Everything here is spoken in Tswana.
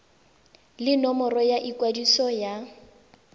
le nomoro ya ikwadiso ya